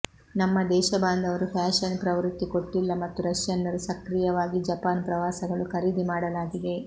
ನಮ್ಮ ದೇಶಬಾಂಧವರು ಫ್ಯಾಷನ್ ಪ್ರವೃತ್ತಿ ಕೊಟ್ಟಿಲ್ಲ ಮತ್ತು ರಷ್ಯನ್ನರು ಸಕ್ರಿಯವಾಗಿ ಜಪಾನ್ ಪ್ರವಾಸಗಳು ಖರೀದಿ ಮಾಡಲಾಗಿದೆ